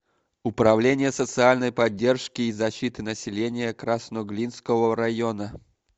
управление социальной поддержки и защиты населения красноглинского района